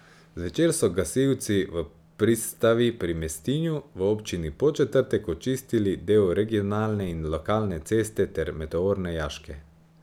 Zvečer so gasilci v Pristavi pri Mestinju v občini Podčetrtek očistili del regionalne in lokalne ceste ter meteorne jaške.